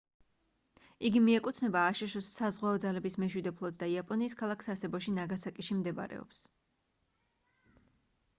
იგი მიეკუთვნება აშშ-ის საზღვაო ძალების მეშვიდე ფლოტს და იაპონიის ქალაქ სასებოში ნაგასაკიში მდებარეობს